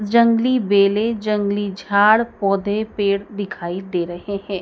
जंगली बेलें जंगली झाड़ पौधे पेड़ दिखाई दे रहे हैं।